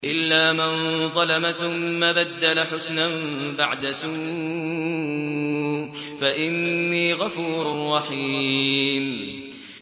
إِلَّا مَن ظَلَمَ ثُمَّ بَدَّلَ حُسْنًا بَعْدَ سُوءٍ فَإِنِّي غَفُورٌ رَّحِيمٌ